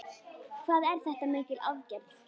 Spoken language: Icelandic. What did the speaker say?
Hvað er þetta mikil aðgerð?